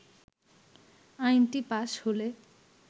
আইনটি পাশ হলে